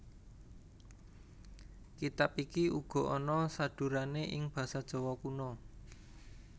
Kitab iki uga ana sadhurané ing basa Jawa Kuna